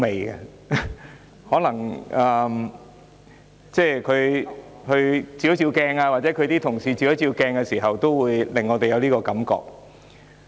也許梁議員和她的同事應照一照鏡子，便會有我們這種感覺。